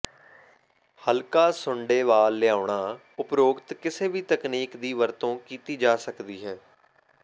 ਹਲਕਾ ਸੁਨਡੇ ਵਾਲ ਲਿਆਉਣਾ ਉਪਰੋਕਤ ਕਿਸੇ ਵੀ ਤਕਨੀਕ ਦੀ ਵਰਤੋਂ ਕੀਤੀ ਜਾ ਸਕਦੀ ਹੈ